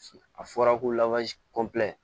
A fɔra ko